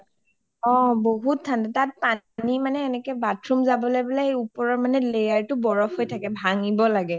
অ বহুত ঠাণ্ডা তাত পানী মানে bathroom যাবলৈ বুলে ওপৰৰ layer টো বুলে বৰফ হয় থকে ভাঙিব লাগে